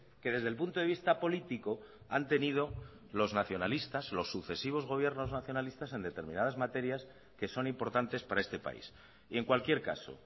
que desde el punto de vista político han tenido los nacionalistas los sucesivos gobiernos nacionalistas en determinadas materias que son importantes para este país y en cualquier caso